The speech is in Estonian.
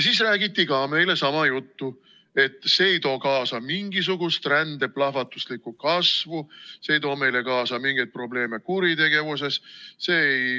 Siis räägiti ka meile sama juttu, et see ei too kaasa mingisugust rände plahvatuslikku kasvu, see ei too meile kaasa mingeid probleeme kuritegevuses.